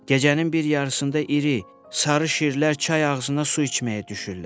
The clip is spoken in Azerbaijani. Gecənin bir yarısında iri sarı şirlər çay ağzına su içməyə düşürlər.